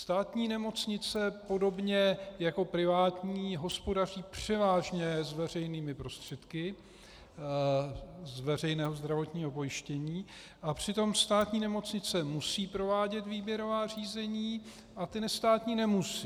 Státní nemocnice podobně jako privátní hospodaří převážně s veřejnými prostředky z veřejného zdravotního pojištění a přitom státní nemocnice musí provádět výběrová řízení a ty nestátní nemusí.